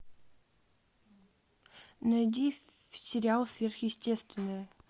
найди сериал сверхъестественное